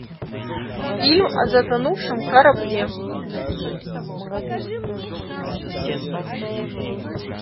фильм о затонувшем корабле